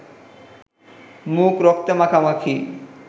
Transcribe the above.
মুখ রক্তে মাখামাখি